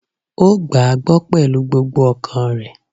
Ó gbàá gbọ́ pẹ̀lú gbogbo ọkàn rẹ̀